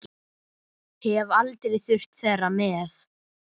Hef aldrei þurft þeirra með.